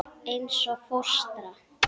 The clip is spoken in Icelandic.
Eins og fóstra.